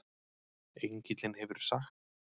Engillinn hefur sagt